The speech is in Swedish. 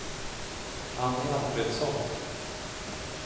Annie Alfredsson